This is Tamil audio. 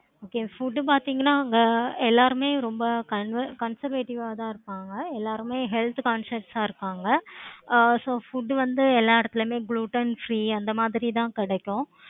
okay food பார்த்தீங்கன்னா எல்லாருமே ரொம்ப conservative ஆஹ் தான் இருப்பாங்க. எல்லாருமே health conscious ஆஹ் இருப்பாங்க. so food வந்து எல்லா எடத்துலையுமே gluten free அந்த மாதிரி தான் கிடைக்கும்.